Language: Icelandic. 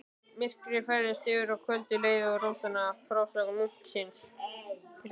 Myrkrið færðist yfir og kvöldið leið við rósama frásögn munksins.